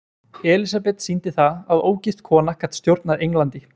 Elísabet sýndi það að ógift kona gat stjórnað Englandi.